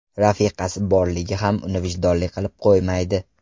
Rafiqasi borligi ham uni vijdonli qilib qo‘ymaydi.